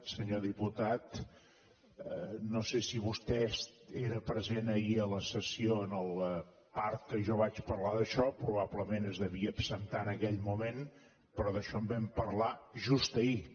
senyor diputat no sé si vostè era present ahir a la sessió en la part que jo vaig parlar d’això probablement se’n devia absentar en aquell moment però d’això en vam parlar just ahir